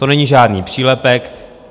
To není žádný přílepek.